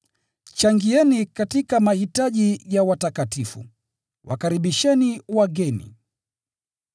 Changieni katika mahitaji ya watakatifu, wakaribisheni wageni.